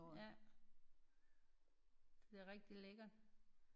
Ja det er rigtig lækkert